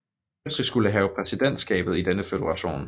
Østrig skulle have præsidentskabet i denne føderation